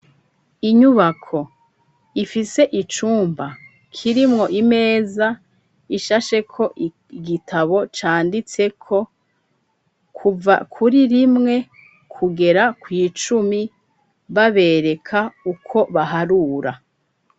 Inyubako,, ifise icumba, kirimwo imeza, ishashe ko igitabo, canditseko, kuva kuri rimwe, kugera kw' Icumi babereka uko baharura.